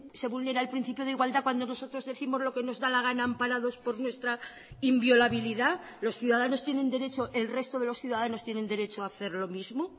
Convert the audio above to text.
se vulnera el principio de igualdad cuando nosotros décimos lo que nos da la gana amparados por nuestra inviolabilidad los ciudadanos tienen derecho el resto de los ciudadanos tienen derecho a hacer lo mismo